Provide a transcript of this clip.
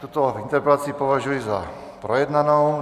Tuto interpelaci považuji za projednanou.